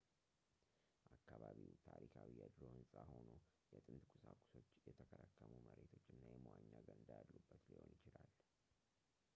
አካባቢው ታሪካዊ የድሮ ህንፃ ሆኖ የጥንት ቁሳቁሶች የተከረከሙ መሬቶች እና የመዋኛ ገንዳ ያሉበት ሊሆን ይችላል